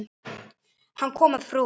Ég verð að fá það!